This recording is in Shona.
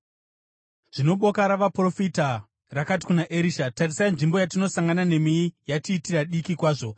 Zvino boka ravaprofita rakati kuna Erisha, “Tarisai, nzvimbo yatinosangana nemi yatiitira diki kwazvo.